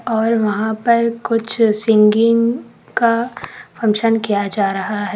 और वहां पर कुछ सिंगिंग का फंक्शन किया जा रहा है।